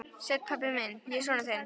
Sæll, pabbi minn, ég er sonur þinn.